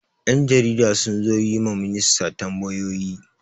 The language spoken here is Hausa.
Yan jarida sun zo yi ma ministan tambayoyi.